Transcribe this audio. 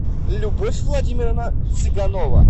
любовь владимировна цыганова